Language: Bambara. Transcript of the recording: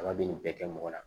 Kaba be nin bɛɛ kɛ mɔgɔ la